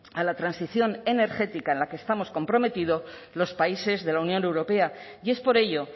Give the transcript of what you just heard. a la transición energética en la que estamos comprometidos los países de la unión europea y es por ello